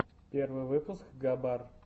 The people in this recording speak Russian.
первый выпуск габар